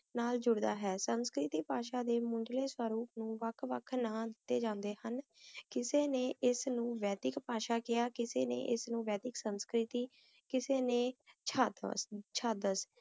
ਨਾਭੀਨਾਲ ਜੁੜੀ ਹੋਈ ਹੈ ਕਿਸੇ ਨੇ ਉਸ ਨੂੰ ਪੱਛਮੀ ਬਾਦਸ਼ਾਹ ਕਾਰ ਕਿਹਾ, ਕੁਝ ਨੇ ਉਸ ਨੂੰ ਬਹੁਤ ਸੰਵੇਦਨਸ਼ੀਲ ਕਿਹਾ